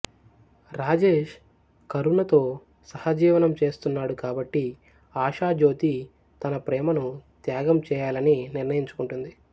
రాజేష్ కరుణతో సహజీవనం చేస్తున్నాడు కాబట్టి ఆషా జ్యోతి తన ప్రేమను త్యాగం చేయాలని నిర్ణయించుకుంటుంది